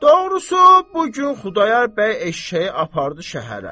Doğrusu, bu gün Xudayar bəy eşşəyi apardı şəhərə.